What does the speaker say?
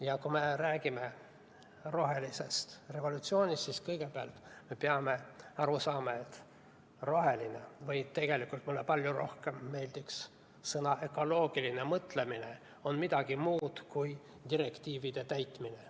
Ja kui me räägime rohelisest revolutsioonist, siis kõigepealt me peame aru saama, et roheline – tegelikult mulle palju rohkem meeldiks sõna "ökoloogiline" – mõtlemine on midagi muud kui direktiivide täitmine.